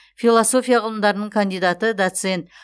философия ғылымдарының кандидаты доцент